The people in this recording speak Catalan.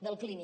del clínic